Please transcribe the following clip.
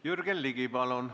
Jürgen Ligi, palun!